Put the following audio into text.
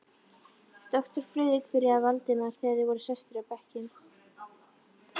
Doktor Friðrik byrjaði Valdimar, þegar þeir voru sestir á bekkinn.